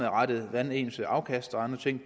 hvordan ens afkast og andre ting